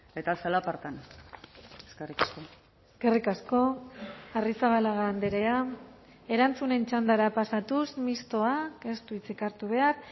eta zalapartan eskerrik asko eskerrik asko arrizabalaga andrea erantzunen txandara pasatuz mistoak ez du hitzik hartu behar